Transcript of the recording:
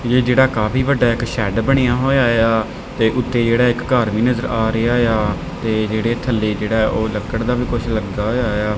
ਯੇ ਜਿਹੜਾ ਕਾਫੀ ਵੱਡਾ ਇੱਕ ਸ਼ੈਡ ਬਣਿਆ ਹੋਇਆ ਆ ਤੇ ਉੱਤੇ ਜਿਹੜਾ ਇੱਕ ਘਰ ਵੀ ਨਜ਼ਰ ਆ ਰਿਹਾ ਆ ਤੇ ਜਿਹੜੇ ਥੱਲੇ ਜਿਹੜਾ ਉਹ ਲੱਕੜ ਦਾ ਵੀ ਕੁਝ ਲੱਗਾ ਹੋਇਆ ਆ।